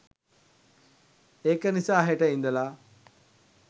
ඒක නිසා හෙට ඉඳලා